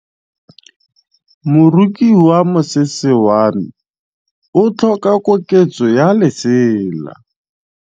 Moroki wa mosese wa me o tlhoka koketsô ya lesela.